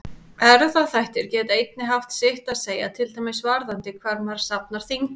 Erfðaþættir geta einnig haft sitt að segja, til dæmis varðandi hvar maður safnar þyngdinni.